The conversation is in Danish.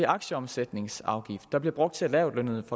aktieomsætningsafgift der bliver brugt til at lavtlønnede